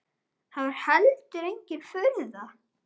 Það var heldur engin furða.